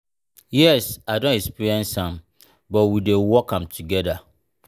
yes i don experience am but we dey work am together.